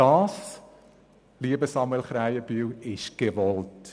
Das stimmt, aber, lieber Grossrat Krähenbühl, das ist gewollt.